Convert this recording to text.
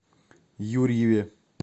юрьеве